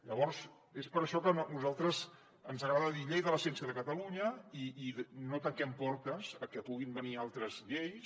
llavors és per això que a nosaltres ens agrada dir llei de la ciència de catalunya i no tanquem portes a que puguin venir altres lleis